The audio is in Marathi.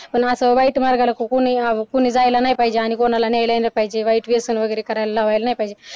पण असं वाईट मार्गाला कोणी यावं व कोणी जायला नाही पाहिजे आणि कोणाला यायला नाही पाहिजे वाईट व्यसन वगैरे करायला लावायला नाही पाहिजे.